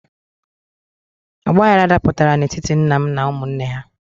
Ọgbaghrara dapụtara n'etiti nna m na ụmụnne ha.